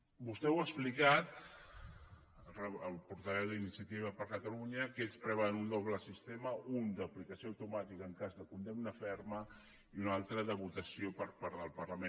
vostè ho ha explicat el portaveu d’iniciativa per catalunya que ells preveuen un doble sistema un d’aplicació automàtica en cas de condemna ferma i un altre de votació per part del parlament